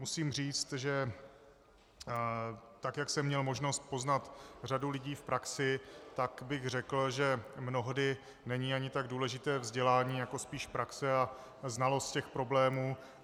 Musím říct, že tak jak jsem měl možnost poznat řadu lidí v praxi, tak bych řekl, že mnohdy není ani tak důležité vzdělání jako spíš praxe a znalost těch problémů.